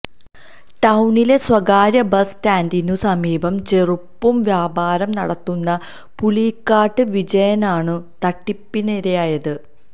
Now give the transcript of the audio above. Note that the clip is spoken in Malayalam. ടൌണിലെ സ്വകാര്യ ബസ് സ്റ്റാന്ഡിനു സമീപം ചെരുപ്പു വ്യാപാരം നടത്തുന്ന പുളിയിലക്കാട്ട് വിജയനാണു തട്ടിപ്പിനിരയായത്